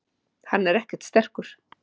Hann er ekkert sterkur.